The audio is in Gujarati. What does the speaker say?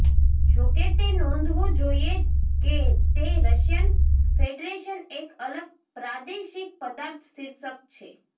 જોકે તે નોંધવું જોઇએ કે તે રશિયન ફેડરેશન એક અલગ પ્રાદેશિક પદાર્થ શિર્ષક છે